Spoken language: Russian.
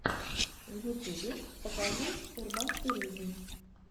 в ютубе покажи урбантуризм